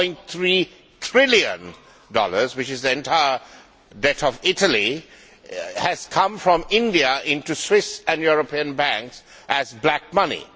1.3 trillion, which is the entire debt of Italy, has come from India into Swiss and European banks as black money.